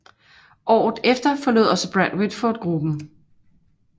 Året efter forlod også Brad Whitford gruppen